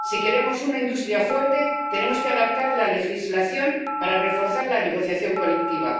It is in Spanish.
Si queremos una industria fuerte, tenemos que adaptar la legislación para reforzar la negociación colectiva.